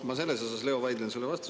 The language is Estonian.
Ma selles, Leo, vaidlen sulle vastu.